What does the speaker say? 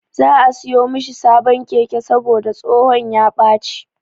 Za'a siyo mishi sabon keke saboda tsohon ya ɓaci.